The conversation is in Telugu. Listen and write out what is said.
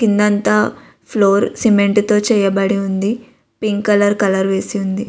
కింద అంతా ఫ్లోర్ సిమెంటు తో చేయబడి ఉంది. పింకు కలర్ కలర్ వేసి ఉంది.